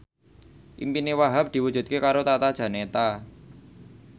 impine Wahhab diwujudke karo Tata Janeta